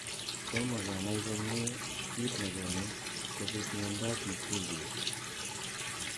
Tomo kenai komie kiit nekonu kobit miondop mikulicz